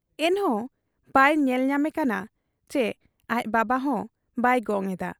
ᱮᱱᱦᱚᱸ ᱵᱟᱭ ᱧᱮᱞ ᱧᱟᱢᱮ ᱠᱟᱱᱟ ᱪᱤ ᱟᱡ ᱵᱟᱵᱟᱦᱚᱸ ᱵᱟᱭ ᱜᱚᱝ ᱮᱫᱟ ᱾